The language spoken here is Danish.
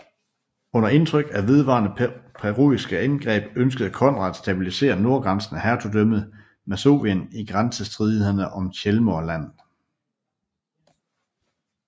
Under indtryk af de vedvarende preussiske angreb ønskede Konrad at stabilisrre nordgrænsen af Hertugdømmet Masovien i grænsestridighederne om Chełmno Land